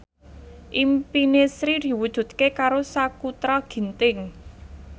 impine Sri diwujudke karo Sakutra Ginting